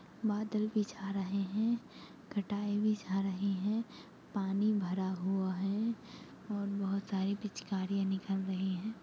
बादल भी छा रहे हैं घटाए भी छा रही हैं पानी भरा हुआ हैं और बहुत सारी पिचकारी निकल रही हैं।